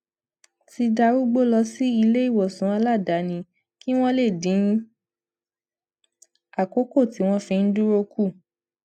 ti darúgbó lọ sí iléìwòsàn aladaani kí wón lè dín àkókò tí wón fi ń dúró kù